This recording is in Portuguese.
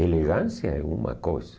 Elegância é uma coisa.